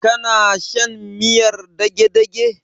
Kana shan miyar dagedage?